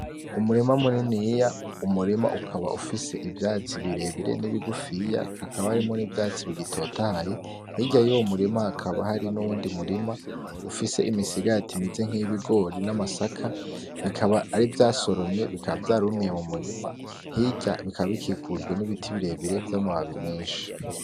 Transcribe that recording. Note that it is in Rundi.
Umurima muniniya, umurima ukaba ufise ivyatsi birebire n'ibigufiya, hakaba harimwo n'ivyatsi bigitotahaye, hirya y'uwo murima hakaba hari n'uwundi murima ufise imisigati imeze nk'iyibigori n'amasaka, bikaba ari ivya soromwe bikaba vyarumiye mu murima, hirya bikaba bikikujwe n'ibiti birebire vy'amababi menshi.